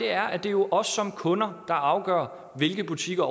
er at det er os som kunder der afgør hvilke butikker